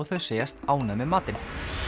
þau segjast ánægð með matinn